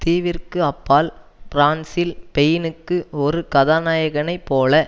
தீவிற்கு அப்பால் பிரான்சில் பெயினுக்கு ஒரு கதாநாயகனைப் போல